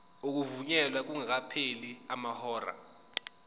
ukuvunyelwa kungakapheli amahora